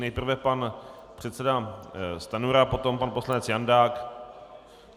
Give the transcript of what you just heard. Nejprve pan předseda Stanjura, potom pan poslanec Jandák.